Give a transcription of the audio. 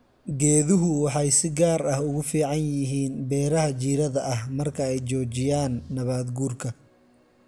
Geeduhu waxay si gaar ah ugu fiican yihiin beeraha jiirada ah marka ay joojiyaan nabaad guurka.